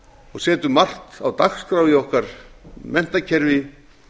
og setjum margt á dagskrá í okkar menntakerfi